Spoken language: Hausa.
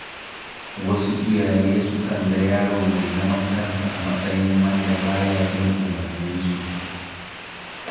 Wasu iyaye sukan ga yaro mai zaman kansa a matsayin wanda ba ya bin umarninsu.